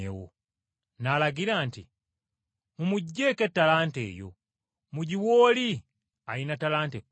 “N’alagira nti, ‘Mumuggyeeko ettalanta eyo mugiwe oli alina ttalanta ekkumi.